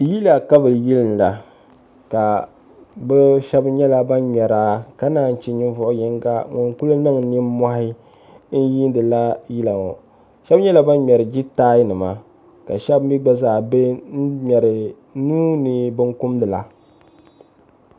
yila ka bɛ yiinda ka bɛ shɛba nyɛla ban ŋmɛra ka naan che ninvuɣ' yiŋga ŋun kuli niŋ nimmɔhi n-yiindila yila ŋɔ shɛba nyɛla ban ŋmɛri jitainima ka shɛba mi gba zaa be n-ŋmɛri nuu ni binkumda la